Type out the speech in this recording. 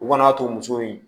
U kana'a to muso in